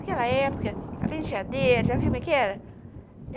Naquela época, a penteadeira, já viu como é que era?